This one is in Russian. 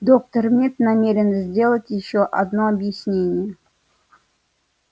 доктор мид намерен сделать ещё одно объяснение